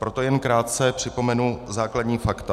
Proto jen krátce připomenu základní fakta.